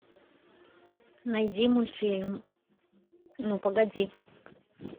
найди мультфильм ну погоди